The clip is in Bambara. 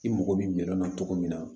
I mago bɛ minɛn na cogo min na